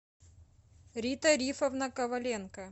рита рифовна коваленко